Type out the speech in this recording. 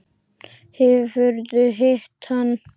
Hefurðu hitt hann?